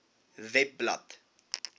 webblad